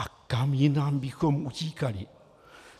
A kam jinam bychom utíkali?